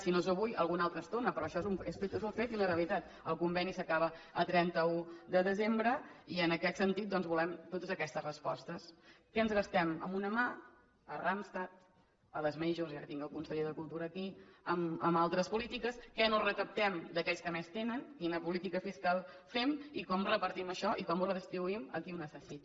si no és avui alguna altra estona però això és un fet i una realitat el conveni s’acaba el trenta un de desembre i en aquest sentit doncs volem totes aquestes respostes què ens gastem amb una mà a randstad a les majorstinc el conseller de cultura aquí en altres polítiques què no recaptem d’aquells que més tenen quina política fiscal fem i com repartim això i com ho redistribuïm a qui ho necessita